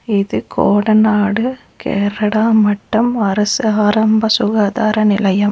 இது கோடநாடு கேரடா மட்டம் அரசு ஆரம்ப சுகாதார நிலையம்.